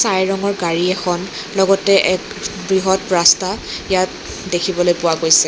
ছাই ৰঙৰ গাড়ী এখন লগতে এক বৃহৎ ৰাস্তা ইয়াত দেখিবলৈ পোৱা গৈছে।